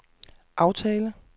aftale